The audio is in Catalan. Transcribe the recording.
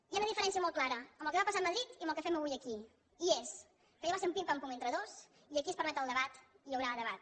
hi ha una diferència molt clara amb el que va passar a madrid i amb el que fem avui aquí i és que allò va ser un pim pam pum entre dos i aquí es permet el debat i hi haurà debat